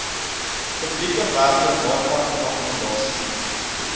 publieke werkewaarvanom akkommodasie